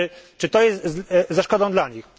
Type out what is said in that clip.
Czy to jest ze szkodą dla nich?